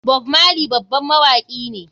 Bob marley babban mawaki ne.